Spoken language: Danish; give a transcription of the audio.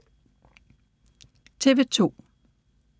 TV 2